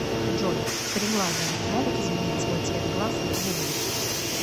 джой кареглазые могут изменить свой цвет глаз на голубой